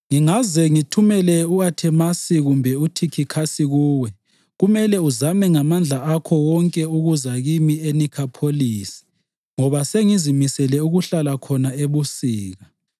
Ngingaze ngithumele u-Athemasi kumbe uThikhikhasi kuwe, kumele uzame ngamandla akho wonke ukuza kimi eNikhopholisi ngoba sengizimisele ukuhlala khona ebusika.